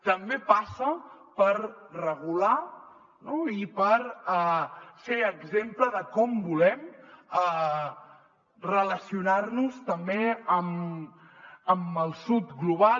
també passa per regular i per ser exemple de com volem relacionar nos també amb el sud global